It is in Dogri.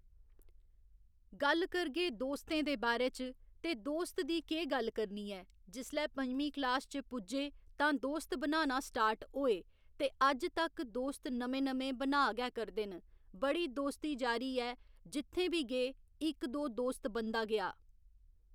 गल्ल करगे दोस्तें दे बारै च ते दोस्त दी केह् गल्ल करनी ऐ जिसलै पंञमीं क्लास च पुज्जे तां दोस्त बनाना स्टार्ट होए ते अज्ज तक्क दोस्त नमें नमें बना गै करदे न बड़ी दोस्ती यारी ऐ जित्थें बी गे इक्क दौ दोस्त बनदा गेआ